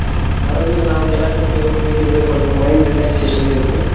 ಮರುದಿನ ನಾವು ಕೆಲಸಕ್ಕೆ ಹೋಗಬೇಕಿದ್ರೆ ಸ್ವಲ್ಪ mind relaxation ಸಿಗ್ತದೆ.